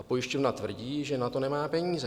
A pojišťovna tvrdí, že na to nemá peníze.